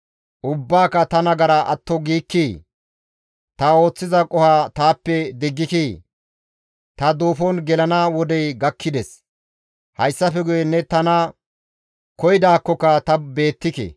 Ubbaaka ta nagara atto giikkii? Ta ooththiza qoho taappe diggikii? Ta duufon gelana wodey gakkides; hayssafe guye ne tana koyidaakkoka ta beettike.»